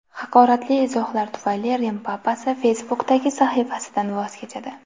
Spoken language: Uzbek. Haqoratli izohlar tufayli Rim papasi Facebook’dagi sahifasidan voz kechadi.